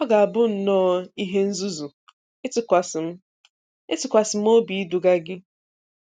Ọ ga-abụ nnọọ ihe nzuzu ịtụkwasị m ịtụkwasị m obi iduga gị.